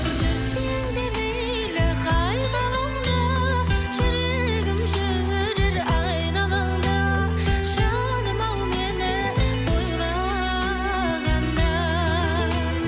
жүрсең де мейлі қай ғаламда жүрегім жүрер айналаңда жаным ау мені ойлағанда